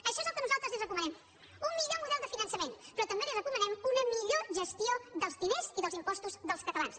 això és el que nosaltres li recomanem un millor model de finançament però també li recomanem una millor gestió dels diners i dels impostos dels catalans